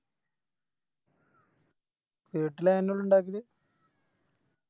വീട്ടില് അതേന്നുള്ളു ഇണ്ടാക്കല്